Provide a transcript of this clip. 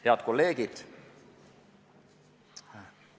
Head kolleegid!